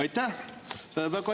Aitäh!